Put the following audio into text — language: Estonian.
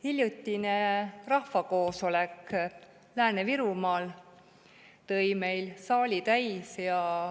Hiljutine rahvakoosolek Lääne-Virumaal tõi meil saali täis.